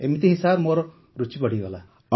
ଏମିତି ହିଁ ମୋର୍ ରୁଚି ବଢ଼ିଗଲା